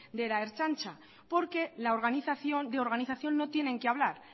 de la ertzaintza porque de organización no tienen que hablar